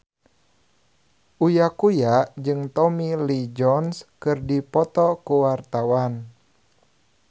Uya Kuya jeung Tommy Lee Jones keur dipoto ku wartawan